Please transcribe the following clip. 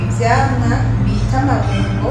Ivyamwa bita amabungo